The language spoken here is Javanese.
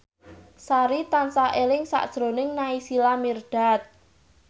Sari tansah eling sakjroning Naysila Mirdad